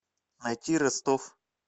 найти ростов